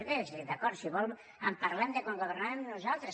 bé d’acord si vol parlem de quan governàvem nosaltres